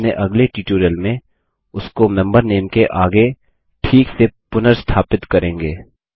हम अपने अगले ट्यूटोरियल में उसको मेंबर नामे के आगे ठीक से पुनर्स्थापित करेंगे